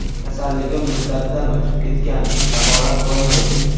Kasalligim muddatidan o‘tib ketgan davolab bo‘lmaydi.